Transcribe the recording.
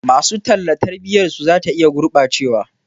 Masu talla tarbiyarsu za ta iya gurɓacewa.